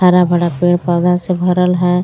हरा भडा पेड़ पौधा से भरल है.